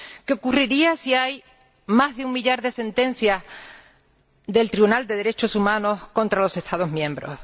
¿Qué ocurriría si hubiera más de un millar de sentencias del Tribunal de Derechos Humanos contra los Estados miembros?